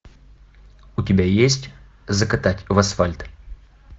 у тебя есть закатать в асфальт